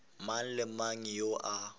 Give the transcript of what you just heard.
mang le mang yo a